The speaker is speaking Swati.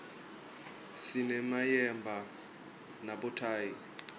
sinemayemba nabothayi